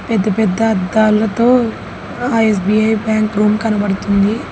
పెద్ద పెద్ద అద్దాలతో ఆ ఎస్_బి_ఐ బ్యాంక్ రూమ్ కనబడుతుంది.